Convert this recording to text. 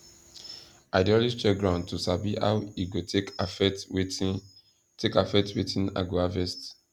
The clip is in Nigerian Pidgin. i dey always check ground to sabi how e go take affect wetin take affect wetin i go harvest